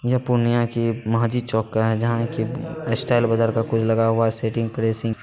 यह पूर्णिया की मांझी चौक का है जहाँ की उम स्टाइल बाजार का कुछ लगा हुआ है सेटिंग प्रेसिंग --